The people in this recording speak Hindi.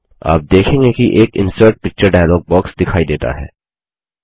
आप देखेंगे कि एक इंसर्ट पिक्चर डायलॉग बॉक्स दिखाई देता है